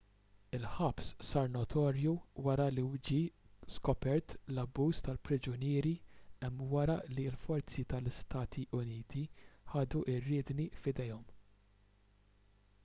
il-ħabs sar notorju wara li ġie skopert l-abbuż tal-priġunieri hemm wara li l-forzi ta-istati uniti ħadu r-riedni f'idejhom